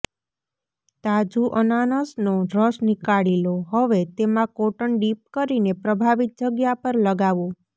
તાજુ અનાનસનો રસ નીકાળી લો હવે તેમા કોટન ડિપ કરીને પ્રભાવિત જગ્યા પર લગાવો